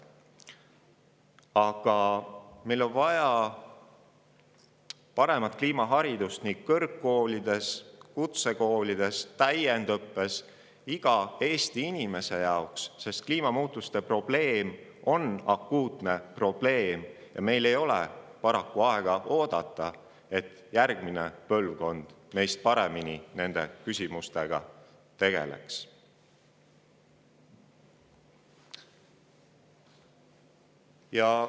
Aga meil on vaja paremat kliimaharidust kõrgkoolides, kutsekoolides, täiendõppes ja iga Eesti inimese jaoks, sest kliimamuutuste probleem on akuutne probleem ja meil ei ole paraku aega oodata, et järgmine põlvkond meist paremini nende küsimustega tegeleks.